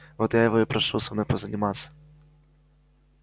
вот его я и прошу со мной позаниматься